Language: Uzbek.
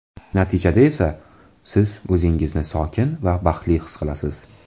Natijada esa siz o‘zingizni sokin va baxtli his qilasiz.